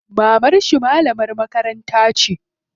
Mamarshi malamar makaranta ce.